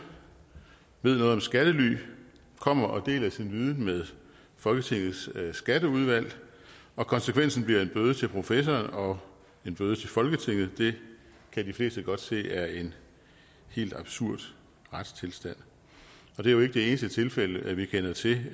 ved noget om skattely kommer og deler sin viden med folketingets skatteudvalg og konsekvensen bliver en bøde til professoren og en bøde til folketinget det kan de fleste godt se er en helt absurd retstilstand og det er jo ikke det eneste tilfælde vi kender til